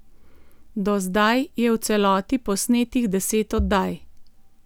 Do zdaj je v celoti posnetih deset oddaj.